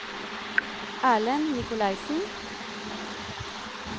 Erlend Nicolaysen